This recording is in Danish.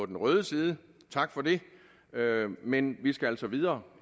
den røde side og tak for det men vi skal altså videre